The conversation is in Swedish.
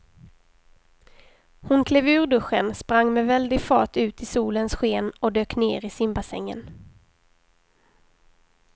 Hon klev ur duschen, sprang med väldig fart ut i solens sken och dök ner i simbassängen.